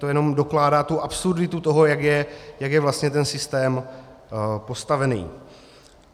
To jenom dokládá tu absurditu toho, jak je vlastně ten systém postavený.